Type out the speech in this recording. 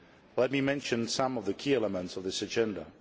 Let me mention some of the key elements of this agenda.